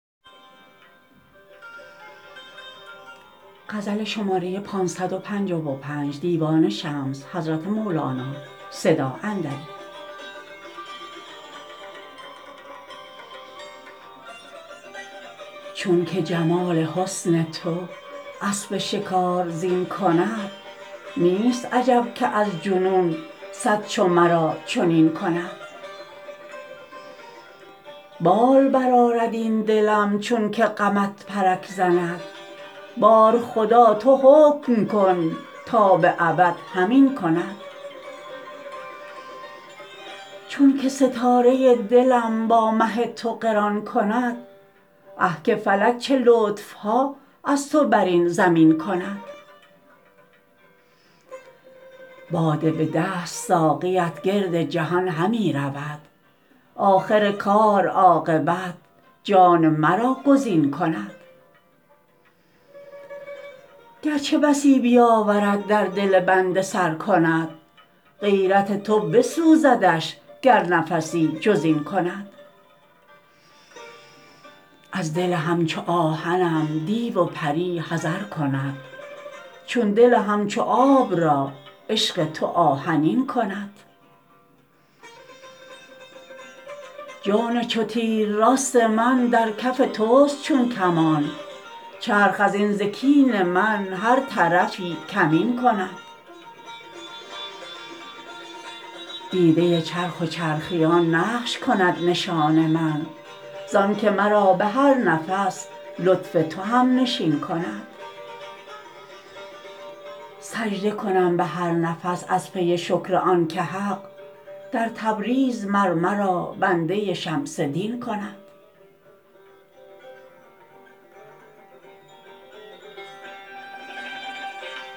چونک جمال حسن تو اسب شکار زین کند نیست عجب که از جنون صد چو مرا چنین کند بال برآرد این دلم چونک غمت پرک زند بار خدا تو حکم کن تا به ابد همین کند چونک ستاره دلم با مه تو قران کند اه که فلک چه لطف ها از تو بر این زمین کند باده به دست ساقیت گرد جهان همی رود آخر کار عاقبت جان مرا گزین کند گر چه بسی بیاورد در دل بنده سر کند غیرت تو بسوزدش گر نفسی جز این کند از دل همچو آهنم دیو و پری حذر کند چون دل همچو آب را عشق تو آهنین کند جان چو تیر راست من در کف توست چون کمان چرخ از این ز کین من هر طرفی کمین کند دیده چرخ و چرخیان نقش کند نشان من زآنک مرا به هر نفس لطف تو هم نشین کند سجده کنم به هر نفس از پی شکر آنک حق در تبریز مر مرا بنده شمس دین کند